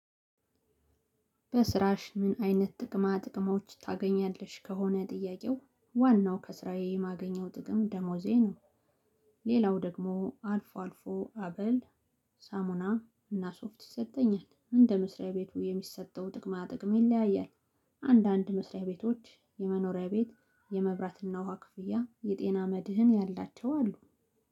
በስራሽ ምን አይነት ጥቅማ ጥቅሞች ታገኛለሽ? ከሆነ ጥያቄው ዋናው ከስራዬ ማገኘው ጥቅም ደሞዜ ነው። ሌላው ደግሞ አልፎ አልፎ አበል። ሳሙና እና ሶፍት ይሰጠኛል እንደ መስሪያ ቤቱ የሚሰጠው ጥቅማ ጥቅም ይለያያል። አንዳንድ መስሪያ ቤቶች የመኖሪያ ቤት የመብራትና ውሃ ክፍያ የጤና መድህን ያላቸው አሉ።